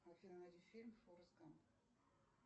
афина найди фильм форест гамп